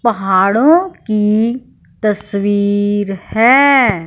पहाड़ों की तस्वीर है।